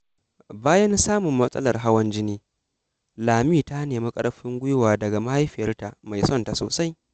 Bayan samun matsalar hawan jini, Lami ta nemi ƙarfin gwiwa daga mahaifiyarta mai son ta sosai.